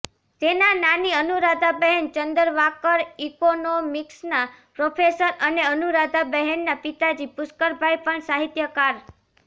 તેના નાની અનુરાધાબહેન ચંદરવાકર ઈકોનોમિક્સના પ્રોફેસર અને અનુરાધાબહેનના પિતાજી પુષ્કરભાઈ પણ સાહિત્યકાર